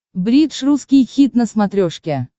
бридж русский хит на смотрешке